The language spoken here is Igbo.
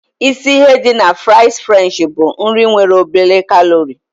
Isi ihe dị na fries french bụ: nri nwere obere kalori.